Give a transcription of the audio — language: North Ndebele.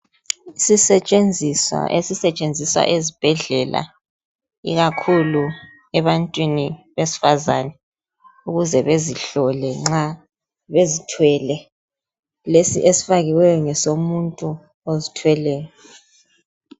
isisetshenzisa esisetshenziswa esibhedlela ikakhulu ebantwini besifazana ukuzi bazihlole nxa bezithwele lesi esifakiweyo ngesomuntu ozithweleyo